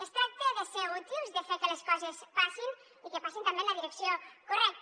es tracta de ser útils de fer que les coses passin i que passin també en la direcció correcta